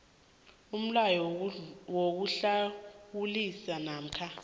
umlayo wokuhlawulisa namkha